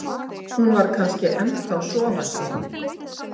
Hún var kannski ennþá sofandi.